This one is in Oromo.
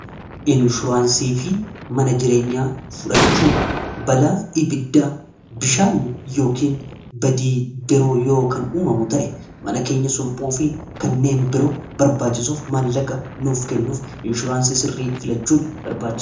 Inshuraansii fi mana jireenya fudhachuu balaa ibiddaa bishaani yookiin badii biroo yoo kan uumamu ta'e mana keenya sulphuufi kanneen biroo barbaachisuuf maallaqa nuuf kennuuf inshuraansii sirrii filachuun barbaachisaadha.